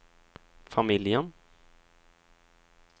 familjen